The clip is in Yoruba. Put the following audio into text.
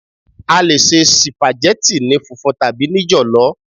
A lè se sìpàgẹ́tì ní funfun tàbí ní jọ̀lọ́.